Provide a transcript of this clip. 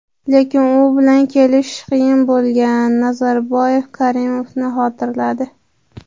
lekin u bilan kelishish qiyin bo‘lgan — Nazarboyev Karimovni xotirladi.